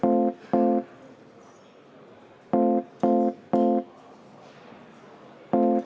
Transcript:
Eelnõu on menetlusest välja arvatud.